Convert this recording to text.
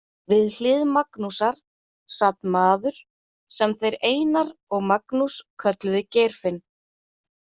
Við hlið Magnúsar sat maður sem þeir Einar og Magnús kölluðu Geirfinn.